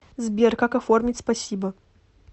сбер как оформить спасибо